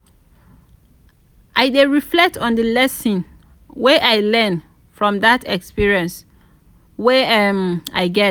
i dey reflect on di lesson wey i learn from dat experience wey um i get.